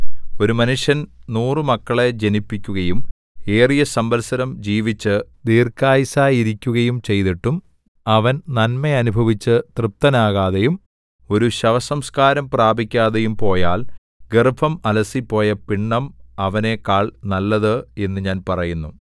ഒരു മനുഷ്യൻ നൂറുമക്കളെ ജനിപ്പിക്കുകയും ഏറിയ സംവത്സരം ജീവിച്ച് ദീർഘായുസ്സായിരിക്കുകയും ചെയ്തിട്ടും അവൻ നന്മ അനുഭവിച്ചു തൃപ്തനാകാതെയും ഒരു ശവസംസ്കാരം പ്രാപിക്കാതെയും പോയാൽ ഗർഭം അലസിപ്പോയ പിണ്ഡം അവനെക്കാൾ നല്ലത് എന്നു ഞാൻ പറയുന്നു